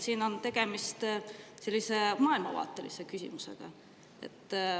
Siin on tegemist maailmavaatelise küsimusega.